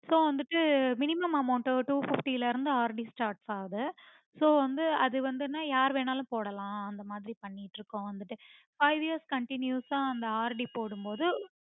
so வந்துட்டு minimum amount two fifty ல இருந்து RDstart ஆகுது வந்து அது வந்துன யார்வேணும்னாலும் போடலாம் அந்த மாதிரி பண்ணிட்டுஇருக்கோம் வந்துட்டு five years continues ஆ அந்த RD போடும்போது